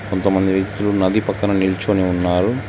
కొంతమంది వ్యక్తులు నది పక్కన నిల్చొని ఉన్నారు.